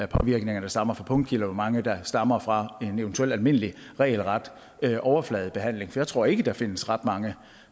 påvirkninger der stammer fra punktkilder og hvor mange der stammer fra en eventuel almindelig regelret overfladebehandling jeg tror ikke der findes ret mange